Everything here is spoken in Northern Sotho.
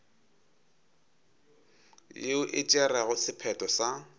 yeo e tšerego sephetho sa